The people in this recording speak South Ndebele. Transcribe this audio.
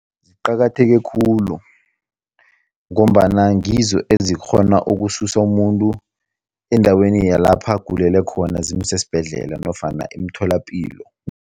Ziqakatheke khulu ngombana ngizo ezikghona ukususa umuntu endaweni yalapha agulele khona, zimuse esibhedlela nofana emtholapilo.